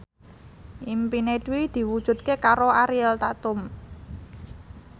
impine Dwi diwujudke karo Ariel Tatum